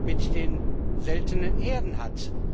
mit den Seltenen Erden hat.